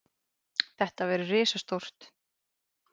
Þetta verður risastórt.